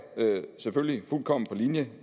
selvfølgelig fuldkommen på linje